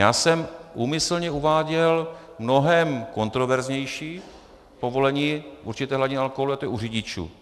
Já jsem úmyslně uváděl mnohem kontroverznější povolení určité hladiny alkoholu, a to je u řidičů.